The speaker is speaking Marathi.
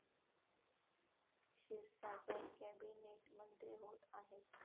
क्षीरसागर कॅबिनेट मंत्री होत आहेत.